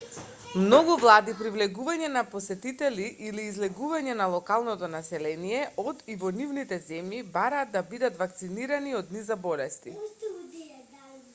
многу влади при влегување на посетители или излегување на локалното население од и во нивните земји бараат да бидат вакцинирани од низа болести